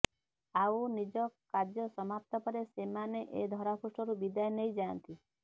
ଆଉ ନିଜ କାର୍ଯ୍ୟସମାପ୍ତ ପରେ ସେମାନେ ଏ ଧରାପୃଷ୍ଠରୁ ବିଦାୟ ନେଇ ଯାଆନ୍ତି